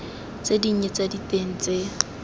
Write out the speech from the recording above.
tse dinnye tsa diteng tse